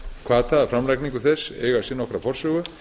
hvatar að framlagningu þess eiga sér nokkra forsögu